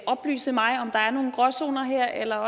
oplyse mig om der er nogen gråzoner her eller